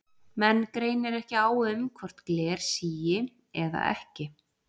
Menn greinir ekki á um hvort gler sígi eða ekki.